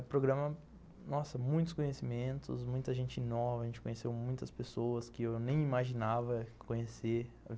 O programa, nossa, muitos conhecimentos, muita gente nova, a gente conheceu muitas pessoas que eu nem imaginava conhecer.